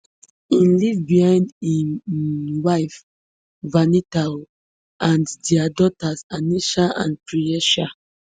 e leave behind im um wife vanitha um and dia daughters anisha and priyesha